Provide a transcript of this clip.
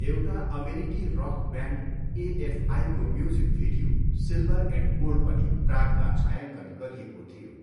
एउटा अमेरिकी rock band एएफआईको music video silver and cold पनि प्रागमा छायाङ्कन गरिएको थियो।